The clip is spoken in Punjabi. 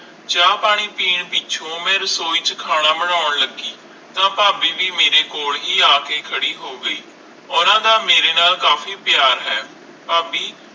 ਚਾਅ ਪਾਣੀ ਪੀਣ ਪਿੱਛੋਂ ਰਸੋਈ ਚ ਖਾਣਾ ਬਣੋਂ ਲੱਗੀ ਤਾ ਫਾਬੀ ਵੀ ਮੇਰੇ ਕੋਲ ਹੈ ਆ ਕੇ ਖਾਰੀ ਹੋ ਗਈ ਓਹਨਾ ਦਾ ਮੇਰੇ ਨਾਲ ਕਾਫੀ ਪਿਆਰ ਹੈ ਫਾਬੀ